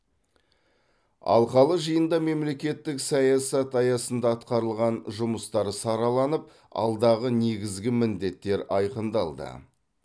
алқалы жиында мемлекеттік саясат аясында атқарылған жұмыстар сараланып алдағы негізгі міндеттер айқындалды